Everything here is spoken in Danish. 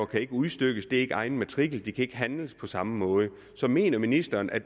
kan ikke udstykkes det er ikke egen matrikel de kan ikke handles på samme måde så mener ministeren at